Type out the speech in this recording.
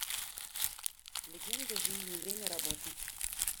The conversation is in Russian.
легенда жизни время работы